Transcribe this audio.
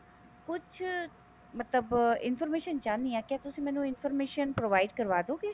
ਕੁਛ ਮਤਲਬ information ਚਾਹੁੰਦੀ ਹਾਂ ਕੀ ਤੁਸੀਂ ਮੈਨੂੰ information provide ਕਰਵਾਦੋਗੇ